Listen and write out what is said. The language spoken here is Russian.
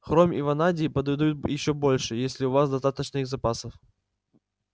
хром и ванадий подойдут ещё больше если у вас достаточно их запасов